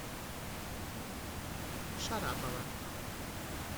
шарапова